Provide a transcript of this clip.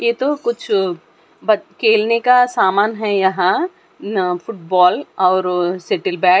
ये तो कुछ ब खेलने का सामान है यहां न फुटबॉल और शीटील बैट ।